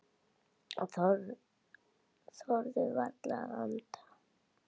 Þorðu varla að anda.